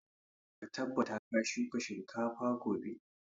Ka tabbata ka shuka shinkafa gobe!